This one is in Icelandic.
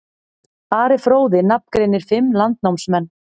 Ari fróði nafngreinir fimm landnámsmenn.